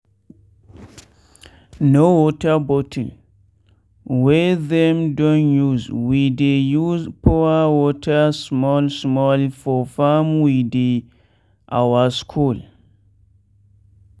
na water bottle wey them don usewe dey use pour water small small for farm wey dey our school.